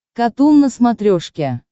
катун на смотрешке